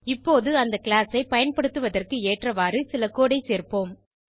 இப்போது இந்த கிளாஸ் ஐ பயன்படுத்துவதற்கு ஏற்றவாறு சில கோடு ஐ சேர்ப்போம்